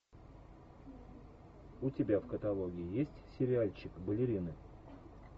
у тебя в каталоге есть сериальчик балерины